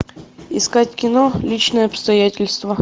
искать кино личные обстоятельства